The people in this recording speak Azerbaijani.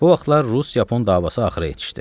Bu vaxtlar rus-yapon davası axıra yetişdi.